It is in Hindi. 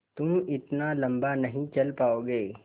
तुम इतना लम्बा नहीं चल पाओगे